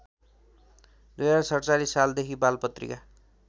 २०४७ सालदेखि बालपत्रिका